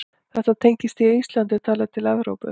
Þetta tengist því að Ísland er talið til Evrópu.